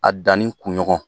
A danni kun ɲɔgɔn.